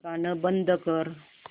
गाणं बंद कर